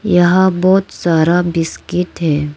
यहां बहुत सारा बिस्किट है।